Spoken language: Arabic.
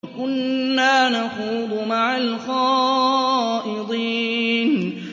وَكُنَّا نَخُوضُ مَعَ الْخَائِضِينَ